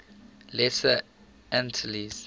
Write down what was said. lesser antilles